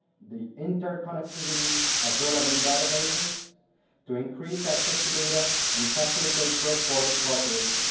the interconnectivity of relevant databases so as to increase access to data and facilitate cross-border cooperation.